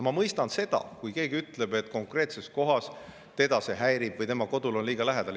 Ma mõistan seda, kui keegi ütleb, et konkreetses kohas teda see häirib või tema kodule on see liiga lähedal.